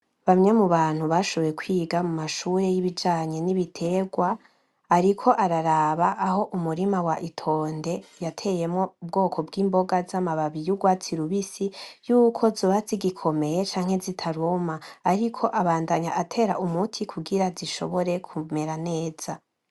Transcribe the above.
Bamwe mu bantu bashoboye kwiga mumashure y'ibijanye n'ibiterwa, ariko araraba aho umurima wa itonde yateyemwo ubwoko bw'imboga za mababi y'urwatsi rubisi yuko zoba zigikomeye canke zitaruma, ariko abandanya atera umuti kugira zishobore kumera neza.